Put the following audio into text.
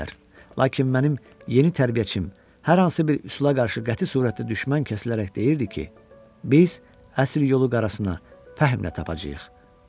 Lakin mənim yeni tərbiyəçim hər hansı bir üsula qarşı qəti surətdə düşmən kəsilərək deyirdi ki, biz əsil yolu qarasını fəhmlə tapacağıq.